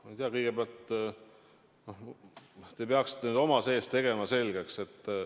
Ma ei tea, kõigepealt te peaksite oma sees ühe asja selgeks tegema.